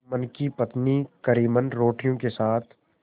जुम्मन की पत्नी करीमन रोटियों के साथ